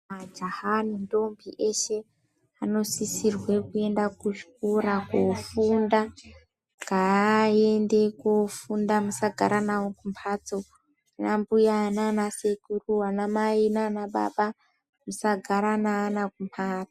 Majaha nendombi eshe, anosisirwe kuenda kuzvikora kofunda .Ngaaende kofunda musagara navo kumphatso. Anambuya naanasekuru, anamai naanababa, musagara naana kumphatso.